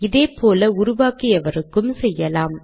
இதே போல உருவாக்கியவருக்கும் செய்யலாம்